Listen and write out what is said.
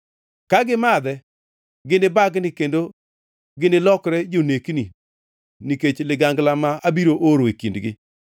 Ka gimadhe, ginibagni kendo ginilokre jonekni nikech ligangla ma abiro oro e kindgi.”